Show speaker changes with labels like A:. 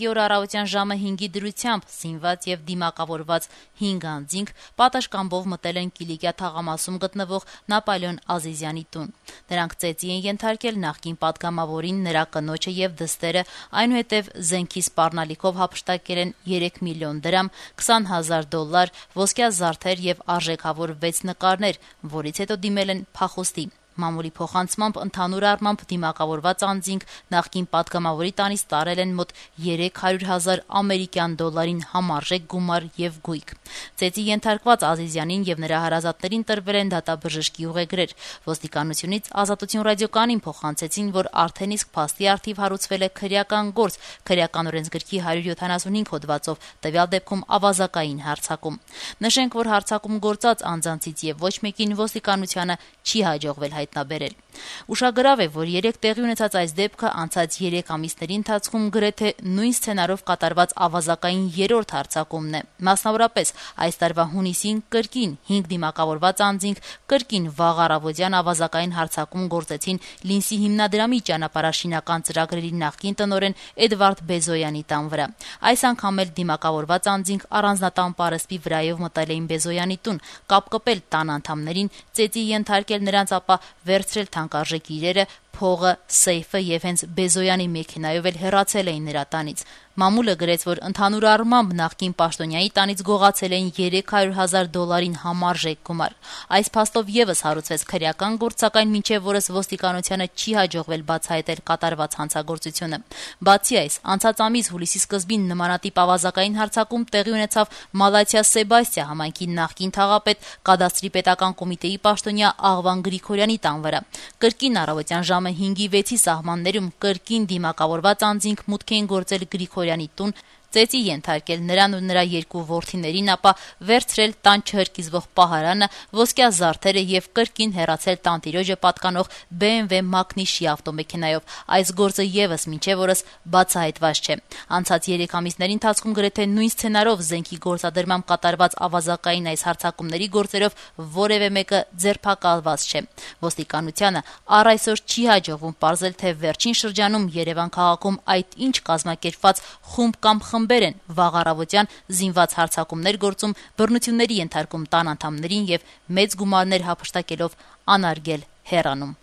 A: օրը առավոտյան ժամը 5-ին դիմակավորված 5 անձինք պատշգամբով մտել են Կիլիկա թաղամասում գտնվող Նապոլեոն Ազիզյանի տուն: Նրանք ծեծի են ենթարկել նախկին պատգամավորին, նրա կնոջը եւ դստերը, այնուհետեւ զենքի սպառնալիքով հափշտակել են 3 միլիոն դրամ, 20 հազար դոլար, ոսկյա զարդեր եւ արժեքավոր 6 նկարներ, ինչից հետո դիմել են փախուստի: Ըստ մամուլի, ընդհանուր առմամբ դիմակավորված անձինք նախկին պատգամավորի տանից տարել են մոտ 300 հազար ամերիկյան դոլարին համարժեք գումար եւ գույք: Ծեծի ենթարկված Ազիզյանին եւ նրա հարազատներին տրվել են դատաբժշկի ուղեգրեր: Ոստիկանությունից «Ազատություն» ռադիոկայանին փոխանցեցին, որ փաստի առթիվ հարուցվել է քրեական գործ ` Քրեական օրենսգրքի 175 հոդվածով (ավազակային հարձակում): Նշենք, որ հարձակում գործած անձանցից ոչ մեկին ոստիկանությանը չի հաջողվել հայտնաբերել: Ուշագրավ է, որ երեկ տեղի ունեցած այս դեպքը անցած 3 ամիսների ընթացքում գրեթե նույն սցենարով կատարված ավազակային 3-րդ հարձակումն է: Մասնավորապես, այս տարվա հունիսին կրկին 5 դիմակավորված անձինք, կրկին վաղ առավոտյան ավազակային հարձակում էին գործել «Լինսի» հիմնադրամի ճանապարհաշինական ծրագրերի նախկին տնօրեն Էդվարդ Բեզոյանի տան վրա: Այս անգամ էլ դիմակավորված անձինք առանձնատան պարսպի վրայով մտել էին Բեզոյանի տուն, կապել տան անդամներին, ծեծի ենթարկել նրանց, ապա վերցրել թանկարժեք իրերը, փողը¸ սեյֆը եւ հենց Բեզոյանի մեքենայով էլ հեռացել: Մամուլը գրեց, որ ընդհանուր առմամբ նախկին պաշտոնյայի տանից գողացել էին 300 հազար դոլարին համարժեք գումար: Այս փաստով եւս հարուցվեց քրեական գործ, սակայն մինչեւ օրս ոստիկանությանը չի հաջողվել բացահայտել կատարված հանցագործությունը: Անցած ամսվա սկզբին նմանատիպ ավազակային հարձակում տեղի ունեցավ Մալաթիա-Սեբաստիա համայնքի նախկին թաղապետ, Կադաստրի պետական կոմիտեի պաշտոնյա Աղվան Գրիգորյանի տան վրա: Կրկին առավոտյան ժամը 5-6-ի սահմաններում, կրկին դիմավորված անձինք մուտք էին գործել Գրիգորյանի տուն, ծեծի ենթարկել նրան ու նրա 2 որդիներին, ապա վերցրել տան չհրկիզվող պահարանը, ոսկյա զարդերը եւ կրկին հեռացել տանտիրոջը պատկանող BMW մակնիշի ավտոմեքենայով: Այս գործը եւս մինչեւ օրս բացահայտված չէ: Անցած 3 ամիսների ընթացքում գրեթե նույն սցենարով զենքի գործադրմամբ կատարված ավազակային այս հարձակումների գործերով որեւէ մեկը ձերբակալված չէ: Ոստիկանությանն առայսօր չի հաջողվում պարզել, թե վերջին շրջանում Երեւան քաղաքում այդ ինչ կազմակերպված խումբ կամ խմբեր են վաղ առավոտյան զինված հարձակումներ գործում, բռնությունների ենթարկում տան անդամներին եւ մեծ գումարներ հափշտակելով անարգել հեռանում: